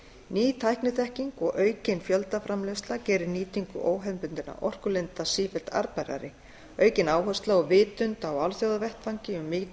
ný tækniþekking og aukin fjöldaframleiðsla gerir nýtingu óhefðbundinna orkulinda sífellt arðbærari aukin áhersla og vitund á alþjóðavettvangi um